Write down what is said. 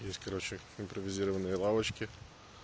здесь короче как импровизированные лавочки